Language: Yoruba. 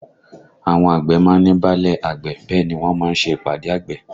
Àwọn àgbẹ̀ má ń ní báálẹ̀ àgbẹ̀ bẹ́ẹ̀ ni wọ́n má ń ṣe ìpàdé àgbẹ̀